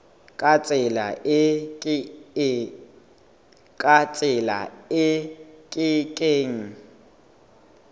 ka tsela e ke keng